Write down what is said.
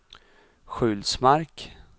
Sjulsmark